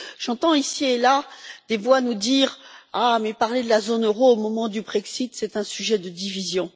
J'entends ici et là des voix nous dire Parler de la zone euro au moment du Brexit, c'est un sujet de division.